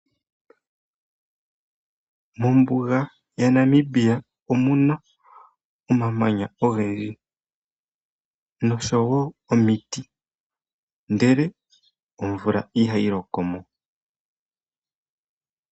Ombuga yaNamibia omuna omamanya ogendji noshowo omiiti, ndele omvula ihayi loko mo.